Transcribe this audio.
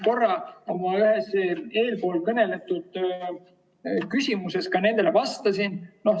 Korra ma eespool selle kohta ka vastasin.